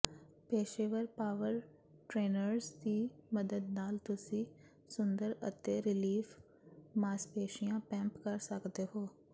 ਪੇਸ਼ੇਵਰ power trainers ਦੀ ਮਦਦ ਨਾਲ ਤੁਸੀਂ ਸੁੰਦਰ ਅਤੇ ਰਿਲੀਫ ਮਾਸਪੇਸ਼ੀਆਂ ਪੈਂਪ ਕਰ ਸਕਦੇ ਹੋ